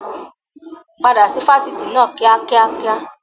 Padà sí Fásitì náà kíá kíákíá!